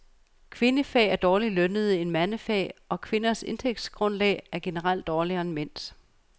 Kvindefag er dårligere lønnede end mandefag, og kvinders indtægtsgrundlag er generelt dårligere end mænds.